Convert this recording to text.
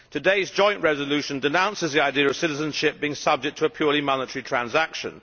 Today's joint resolution denounces the idea of citizenship being subject to a purely monetary transaction.